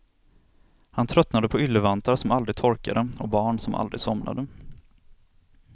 Han tröttnade på yllevantar som aldrig torkade och barn som aldrig somnade.